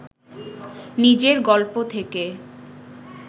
নিজের গল্প থেকে